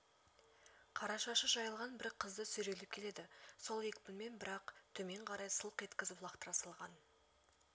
қара шашы жайылған бір қызды сүйрелеп келеді сол екпінмен бір-ақ төмен қарай сылқ еткізіп лақтыра салған